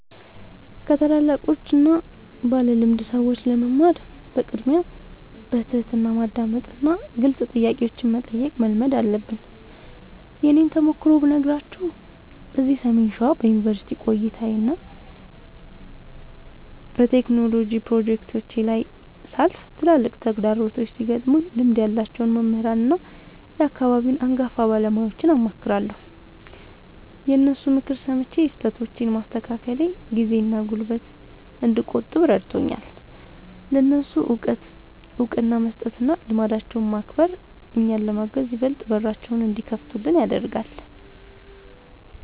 ከታላላቆችና ባለልምድ ሰዎች ለመማር በቅድሚያ በትሕትና ማዳመጥንና ግልጽ ጥያቄዎችን መጠየቅን መልመድ አለብን። የእኔን ተሞክሮ ብነግራችሁ፤ እዚህ ሰሜን ሸዋ በዩኒቨርሲቲ ቆይታዬና በቴክኖሎጂ ፕሮጀክቶቼ ላይ ሳልፍ፣ ትላልቅ ተግዳሮቶች ሲገጥሙኝ ልምድ ያላቸውን መምህራንና የአካባቢውን አንጋፋ ባለሙያዎችን አማክራለሁ። የእነሱን ምክር ሰምቼ ስህተቶቼን ማስተካከሌ ጊዜና ጉልበት እንድቆጥብ ረድቶኛል። ለእነሱ እውቀት እውቅና መስጠትና ልምዳቸውን ማክበር፣ እኛን ለማገዝ ይበልጥ በራቸውን እንዲከፍቱልን ያደርጋል።